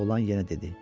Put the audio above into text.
Oğlan yenə dedi.